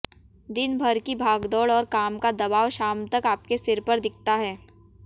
दिन भर की भागदौड़ और काम का दबाव शाम तक आपके सिर पर दिखता है